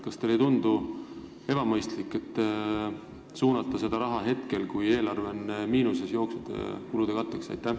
Kas teile ei tundu ebamõistlik suunata see raha nüüd, kui eelarve on miinuses, jooksvate kulude katteks?